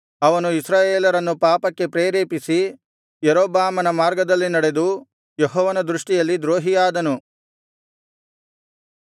ಅವನು ಇಸ್ರಾಯೇಲರನ್ನು ಪಾಪಕ್ಕೆ ಪ್ರೇರೇಪಿಸಿ ಯಾರೊಬ್ಬಾಮನ ಮಾರ್ಗದಲ್ಲಿ ನಡೆದು ಯೆಹೋವನ ದೃಷ್ಟಿಯಲ್ಲಿ ದ್ರೋಹಿಯಾದನು